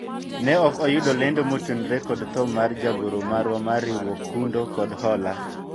ne ok ayudo lendo motenore kod tho mar jagoro marwa mar riwruog kundo kod hola